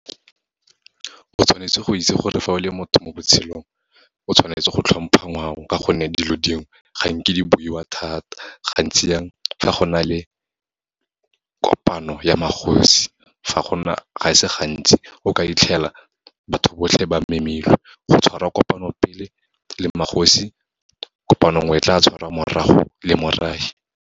O tshwanetse go itse gore fa o le motho mo botshelong, o tshwanetse go tlhompha ngwao ka gonne, dilo dingwe, ga nke di boiwa thata, gantsi yang fa go na le kopano ya magosi. Ga e se gantsi o ka fitlhela batho botlhe ba memilwe, go tshwara kopano pele le magosi, kopano nngwe e tla tshwarwa morago le morafe.